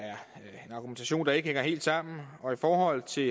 en argumentation der ikke hænger helt sammen og i forhold til